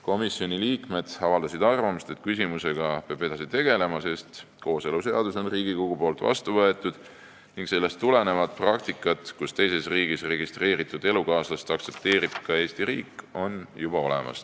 Komisjoni liikmed avaldasid arvamust, et küsimusega peab edasi tegelema, sest kooseluseadus on Riigikogus vastu võetud ning sellest tulenev praktika, et teises riigis registreeritud elukaaslast aktsepteerib ka Eesti riik, on juba olemas.